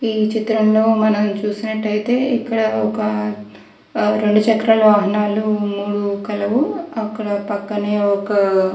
ఈ చిత్రం లో మనం చూసినత్తయితే ఇక్కడ ఒక రెండు చక్రాల వాహనాలు మూడు కలవు అక్కడ పక్కనే ఒక --